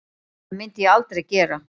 Það myndi ég aldrei gera